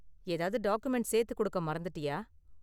ஏதாவது டாக்குமெண்ட சேத்து கொடுக்க மறந்துட்டியா?